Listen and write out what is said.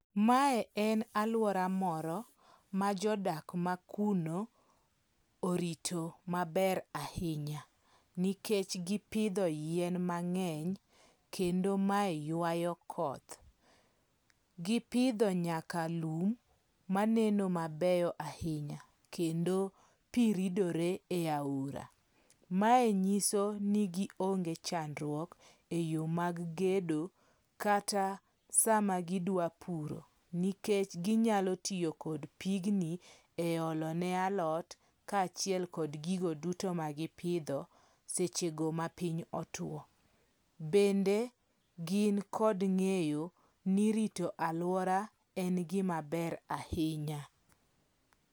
Mae en aluora moro ma jodak makuno orito maber ahinya, nikech gipidho yien mang'eny kendo mae ywayo koth. Gipidho nyaka lum maneno mabeyo ahinya kendo pi ridore e aora. Mae nyiso ni gionge chandruok eyo mag gedo kata sama gidwa puro, nikech ginyalo tiyo kod pigni e olo ne alot kaachiel kod gigo duto ma gipidho sechego mapiny otwo. Bende gin kod ng'eyo ni rito aluora en gima ber ahinya.